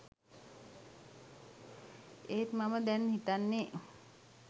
ඒත් මම දැන් හිතන්නේ